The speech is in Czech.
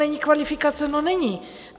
Není kvalifikace - no není.